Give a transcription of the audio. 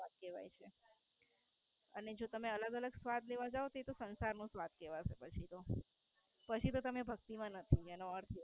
પ્રસાદ કહેવાય છે. ને જો તમે અલગ અલગ સ્વાદ લેવા જાવ તો એ સંસાર નો સ્વાદ કહેવાય પછી તો પછી તો તમે ભક્તિ માં નથી એનો અર્થ